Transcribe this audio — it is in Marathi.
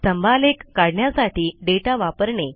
स्तंभालेख काढण्यासाठी दाता वापरणे